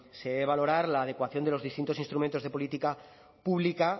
se debe valorar la adecuación de los distintos instrumentos de política pública